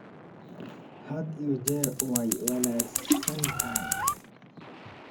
Had iyo jeer way wanaagsan tahay.